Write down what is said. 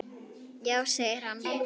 Já segir hann.